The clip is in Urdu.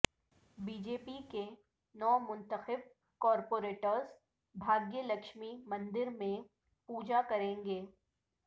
بی جے پی کے نو منتخب کارپوریٹرس بھاگیہ لکشمی مندر میں پوجا کریں گے